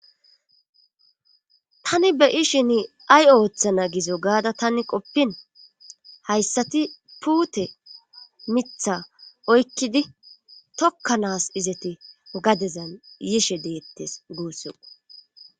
Tani be'ishin ay ooththana gizo gaada tani qoppin hayssati puute miiththa oykkidi tokkanas izati gadezan yiishshe deettes guussikko